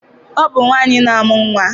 Ọ bụ nwaanyị na-amụ nnwa